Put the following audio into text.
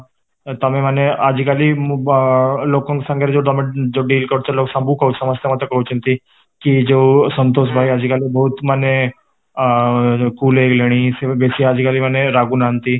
ତ ତମେ ମାନେ ଆଜିକାଲି ମୁଁ ଲୋକଙ୍କ ସାଙ୍ଗରେ ଯୋଉ ଯୋଉ deal କରୁଥିଲ ସବୁ କହୁଛି ସମସ୍ତେ ମତେ କହୁଛନ୍ତି କି ଯୋଉ ସନ୍ତୋଷ ଭସାଇ ଆଜି କାଲି ବହୁତ ମାନେ ଆଁ cool ହେଇଗଲେଣି ସେ ଏବେ ବେଶୀ ଆଜି କାଲି ମାନେ ରାଗୁନାହାନ୍ତି